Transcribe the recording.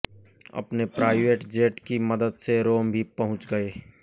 अपने private jet की मदद से रोम भी पहुंच गए